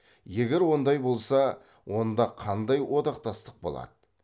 егер ондай болса онда қандай одақтастық болады